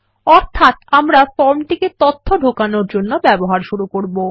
অর্থাত আমরা ফর্মটিকে তথ্য ঢোকানোর জন্য ব্যবহার শুরু করবো